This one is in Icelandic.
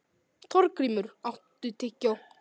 Þorgrímur, áttu tyggjó?